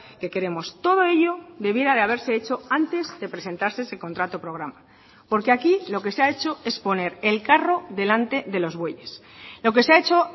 que queremos todo ello debiera de haberse hecho antes de presentarse ese contrato programa porque aquí lo que se ha hecho es poner el carro delante de los bueyes lo que se ha hecho